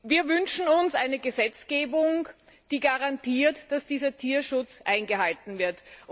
Wir wünschen uns eine Gesetzgebung, die garantiert, dass dieser Tierschutz eingehalten wird.